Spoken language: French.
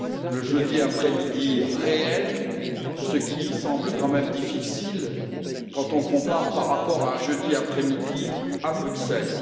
le jeudi après midi, ce qui semble quand même difficile quand on compare par rapport à un jeudi après midi à Bruxelles